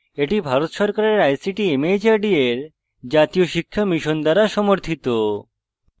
এটি ভারত সরকারের ict mhrd এর জাতীয় শিক্ষা mission দ্বারা সমর্থিত